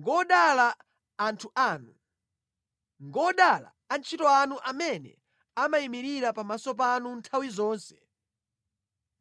Ngodala anthu anu! Ngodala atumiki anu amene amayimirira pamaso panu nthawi zonse